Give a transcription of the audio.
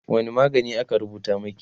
wani magani aka rubuta maki?